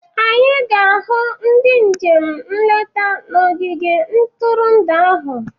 Anyị ga-ahụ ndị njem nleta na ogige ntụrụndụ ahụ